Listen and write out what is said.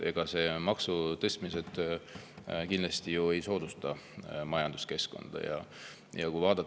Maksutõstmised kindlasti ei soodusta majanduskeskkonna.